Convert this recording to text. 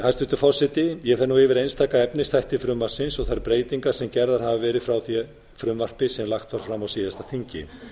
hæstvirtur forseti ég fer nú yfir einstaka efnisþætti frumvarpsins og þær breytingar sem gerðar hafa verið frá því frumvarpi sem lagt var fram á síðasta þingi